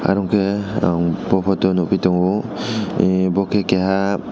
aro ke ang bo photo o nogpi tongo e boke keha.